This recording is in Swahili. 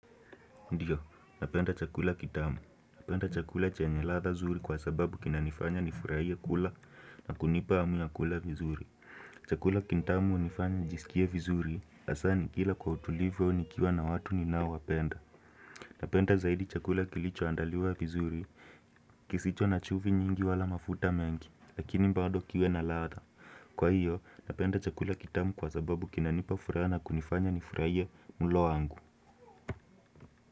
Ndiyo, napenda chakula kitamu. Napenda chakula chanye ladha zuri kwa sababu kina nifanya nifurahie kula na kunipa hamu ya kula vizuri. Chakula kitamu unifanya njisikie vizuri, hasa nikila kwa utulivu au nikiwa na watu ninao wapenda. Napenda zaidi chakula kilicho andaliwa vizuri, kisicho na chumvi nyingi wala mafuta mengi, lakini bado kiwe na ladha. Kwa hiyo, napenda chakula kitamu kwa sababu kinapa furaha na kunifanya nifurahie mlo wangu.